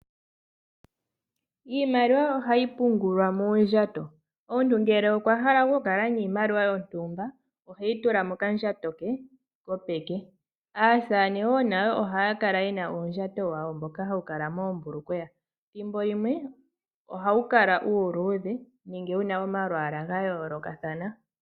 Iimaliwa ohayi pungulwa moondjato, omuntu ngele okwa hala okukala niimaliwa yontumba oheyi tula mokandjato ke kopeke. Aasamane nayo ohaya kala ye na uundjato wawo mboka hawu kala moombulukweya ethimbo limwe ohawu kala uluudhe nenge wu na omalwaala ga yoolokathana.